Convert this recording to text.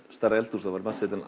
stærra eldhús væri matseðillinn